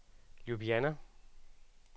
Ljubljana